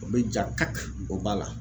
O bɛ ja kaki o b'a la .